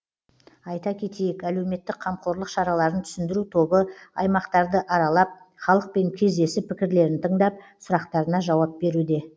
айта кетейік әлеуметтік қамқорлық шараларын түсіндіру тобы аймақтарды аралап халықпен кездесіп пікірлерін тыңдап сұрақтарына жауап беруде